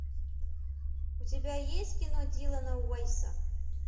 у тебя есть кино дилана уайса